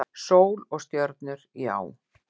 Sól og stjörnur, já.